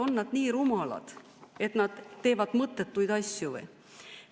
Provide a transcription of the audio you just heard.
On nad nii rumalad, et teevad mõttetuid asju?